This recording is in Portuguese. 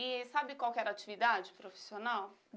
E sabe qual que era a atividade profissional?